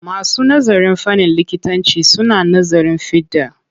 Masu nazarin fannin likitanci suna nazarin fiɗa.